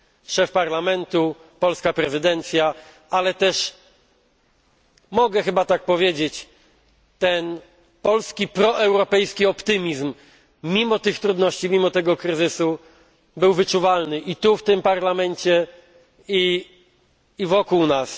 Szef Parlamentu, polska prezydencja, ale też mogę chyba tak powiedzieć ten polski proeuropejski optymizm, który mimo tych trudności, mimo kryzysu, był wyczuwalny i tu, w tym Parlamencie, i wokół nas.